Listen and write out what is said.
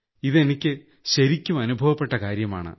ഇതെനിയ്ക്ക് ശരിക്കും അനുഭവപ്പെട്ട കാര്യമാണ്